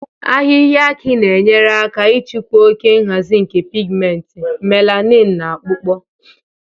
Ahịhịa aki na-enyere aka ịchịkwa oke nhazi nke pigmenti, melanin na akpụkpọ